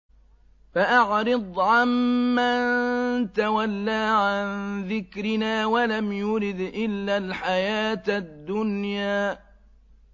فَأَعْرِضْ عَن مَّن تَوَلَّىٰ عَن ذِكْرِنَا وَلَمْ يُرِدْ إِلَّا الْحَيَاةَ الدُّنْيَا